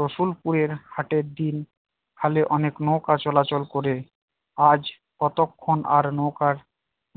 রসুলপুরের হাটের দিন খালে অনেক নৌকা চলাচল করে আজ কতক্ষণ আর নৌকার